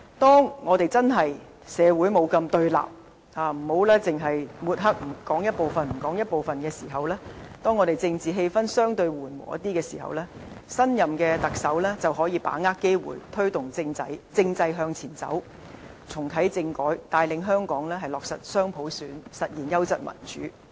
當社會不再那麼對立，不只是抹黑和斷章取義，當政治氣氛相對緩和的時候，新任特首便可把握機會，推動政制向前走，重啟政改，帶領香港落實雙普選，實現優質民主。